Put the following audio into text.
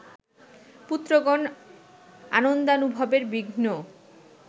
পুত্রগণ আনন্দানুভবের বিঘ্ন